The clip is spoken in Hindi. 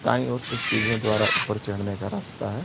दायीं और से सीढ़ियों द्वारा ऊपर चढ़ने का रास्ता है।